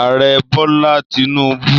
Ààrẹ Bọ́lá Tinúbú